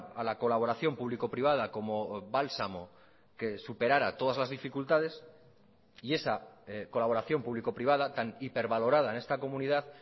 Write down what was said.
a la colaboración público privada como bálsamo que superara todas las dificultades y esa colaboración público privada tan hipervalorada en esta comunidad